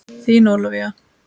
Þín Ólafía.